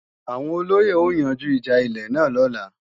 Àwọn olóyè ó yanjú ìjà ilé náà lọ́la